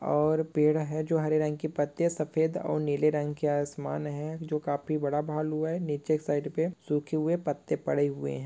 और पेड़ है जो हरे रंग के पत्ते सफेद और नीले रंग के आसमान है जो काफी बड़ा भालू है नीचे एक साइड पे सूखे हुए पत्ते पड़े हुए हैं।